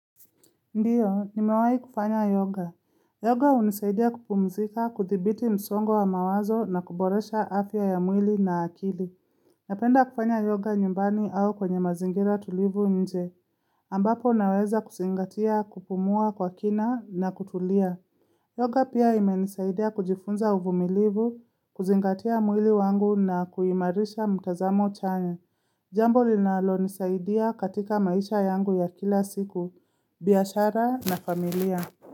Ndiyo, nimewai kufanya yoga. Yoga unisaidia kupumzika kuthibiti msongo wa mawazo na kuboresha afya ya mwili na akili. Napenda kufanya yoga nyumbani au kwenye mazingira tulivu nje. Ambapo naweza kusingatia kupumua kwa kina na kutulia. Yoga pia ime nisaidia kujifunza uvumilivu, kuzingatia mwili wangu na kuimarisha mtazamo chanya. Jambo linalo nisaidia katika maisha yangu ya kila siku, biashara na familia.